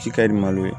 Ji ka di malo ye